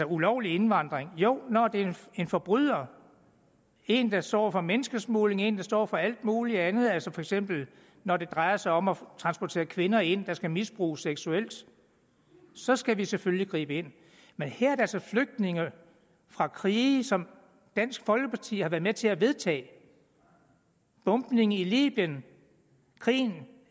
ulovlig indvandring jo når det er en forbryder en der står for menneskesmugling en der står for alt muligt andet altså for eksempel når det drejer sig om at transportere kvinder ind der skal misbruges seksuelt så skal vi selvfølgelig gribe ind men her er det altså flygtninge fra krige som dansk folkeparti har været med til at vedtage bombningen i libyen krigen